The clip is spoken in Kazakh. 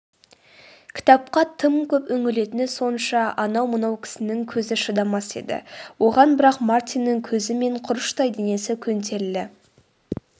кітапқа тым көп үңілетіні сонша анау-мынау кісінің көзі шыдамас еді оған бірақ мартиннің көзі мен құрыштай денесі көнтерілі